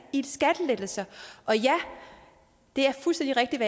i skattelettelser og ja det er fuldstændig rigtigt